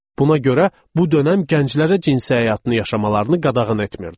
Buna görə bu dönəm gənclərə cinsi həyatını yaşamalarını qadağan etmirdi.